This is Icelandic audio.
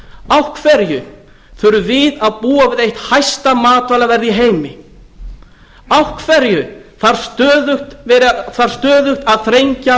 af hverju þurfum við að búa við eitt hæsta matvælaverð í heimi af hverju þarf stöðugt að þrengja að